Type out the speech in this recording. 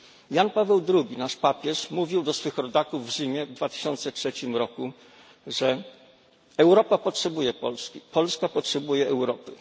Jan Paweł II, nasz papież, mówił do swych rodaków w Rzymie w 2003 roku, że Europa potrzebuje Polski, Polska potrzebuje Europy.